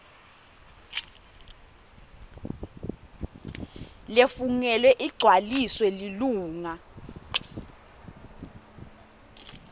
lefungelwe igcwaliswa lilunga